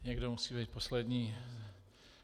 Někdo musí být poslední.